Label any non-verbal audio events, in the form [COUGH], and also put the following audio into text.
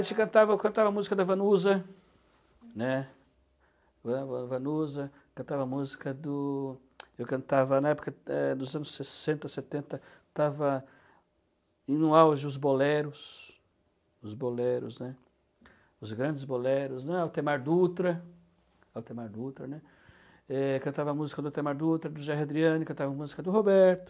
A gente cantava eu cantava música da Vanusa, né, [UNINTELLIGIBLE] Van Van Vanusa, cantava a música do... Eu cantava na época eh, dos anos sessenta, setenta estava em um auge os boleros, os boleros, né, os grandes boleros, né, Altemar Dutra, Altemar Dutra, né, cantava a música do Altemar Dutra, do Jair Adriani, cantava a música do Roberto,